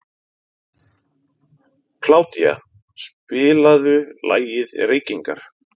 Kládía, spilaðu lagið „Reykingar“.